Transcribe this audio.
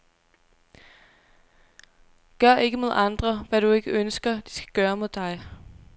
Gør ikke mod andre, hvad du ikke ønsker, de skal gøre mod dig.